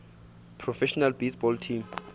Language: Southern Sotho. professional baseball teams